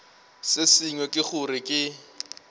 se sengwe ke gore ke